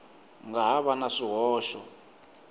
nga ha va na swihoxo